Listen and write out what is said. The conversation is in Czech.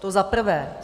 To za prvé.